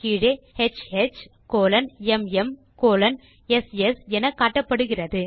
கீழே HHMMSS என காட்டப்படுகிறது